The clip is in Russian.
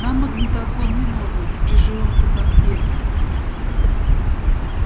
нам магнитофон не нужен при живом-то компе